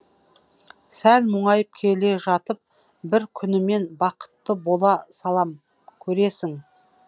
сәл мұңайып келе жатып бір күні мен бақытты бола салам көресің